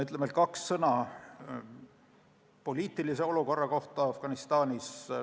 Ütlen veel kaks sõna poliitilise olukorra kohta Afganistanis.